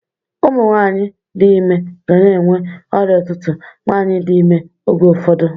Ụmụnwaanyị dị ime gana enwe ọrịa ụtụtụ nwaanyị dị ime oge ụfọdụ.